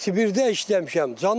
Sibirədə işləmişəm.